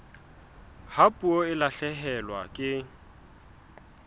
ha puo e lahlehelwa ke